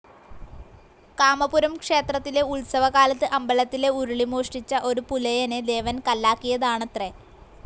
കാമപുരം ക്ഷേത്രത്തിലെ ഉത്സവകാലത്ത് അമ്പലത്തിലെ ഉരുളി മോഷ്ടിച്ച ഒരു പുലയനെ ദേവൻ കല്ലാക്കിയതാണത്രെ.